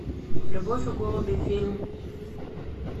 любовь и голуби фильм